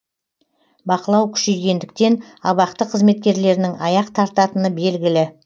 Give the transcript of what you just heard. бақылау күшейгендіктен абақты қызметкерлерінің аяқ тартатыны белгілі